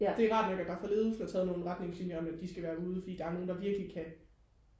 det er rart nok at der fra ledelsen er taget nogle retningslinjer om at de skal være ude for der er nogle der virkelig kan